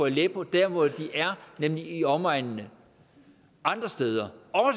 i aleppo dér hvor de er nemlig i omegnene andre steder